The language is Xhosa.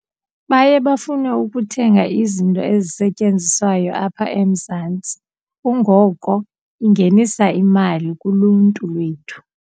Baye bafune ukuthenga izinto ezisetyenziswayo apha eMzantsi kungoko ingenisa imali kuluntu lwethu.